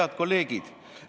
Head kolleegid!